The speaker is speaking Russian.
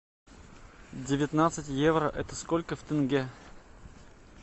девятнадцать евро это сколько в тенге